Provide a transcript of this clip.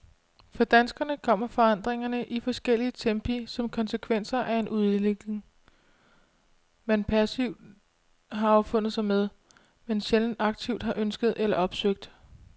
For danskerne kommer forandringerne i forskellige tempi som konsekvenser af en udvikling, man passivt har affundet sig med, men sjældent aktivt har ønsket eller opsøgt.